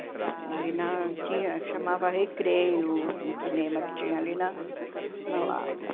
É. Ali não tinha... Chamava Recreio, o cinema que tinha ali na na Lapa.